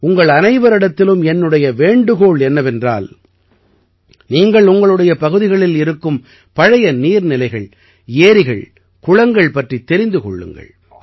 உங்கள் அனைவரிடத்திலும் என்னுடைய வேண்டுகோள் என்னவென்றால் நீங்கள் உங்களுடைய பகுதிகளில் இருக்கும் பழைய நீர்நிலைகள் ஏரிகள்குளங்கள் பற்றித் தெரிந்து கொள்ளுங்கள்